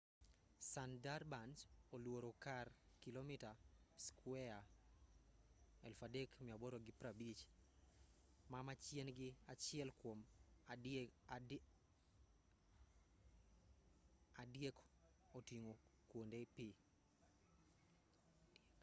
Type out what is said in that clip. sundarbans oluoro kar kilomita skueya 3,850 ma machiegni achiel kuom adiek oting'o kuonde pi